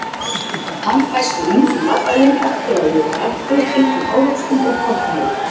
Hann fæst úr ýmsum matvælum eftir að við höfum melt þau, einkum ávöxtum og kornvörum.